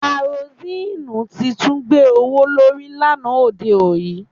Karosíìnù ti tún gbé owó lórí lánàá òde yìí